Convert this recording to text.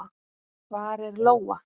Hvar er Lóa?